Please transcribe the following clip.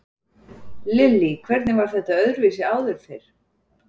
Lillý: Hvernig var þetta öðruvísi áður fyrr?